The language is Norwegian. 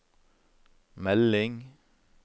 melding